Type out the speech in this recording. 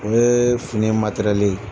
O ye fini matɛrɛli ye.